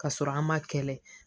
Ka sɔrɔ an ma kɛlɛ